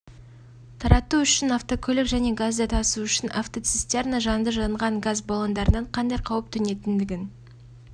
тарату үшін автокөлік және газды тасу үшін автоцистерна жанды жанған газ баллондарынан қандай қауіп төнетіндігін